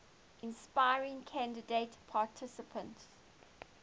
inspiring candidate participants